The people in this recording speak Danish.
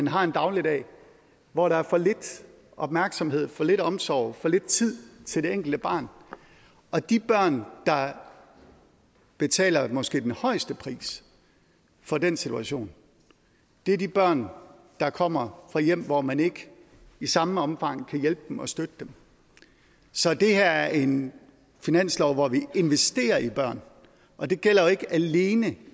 har en dagligdag hvor der er for lidt opmærksomhed for lidt omsorg for lidt tid til det enkelte barn og de børn der betaler måske den højeste pris for den situation er de børn der kommer fra hjem hvor man ikke i samme omfang kan hjælpe dem og støtte dem så det her er en finanslov hvor vi investerer i børn og det gælder jo ikke alene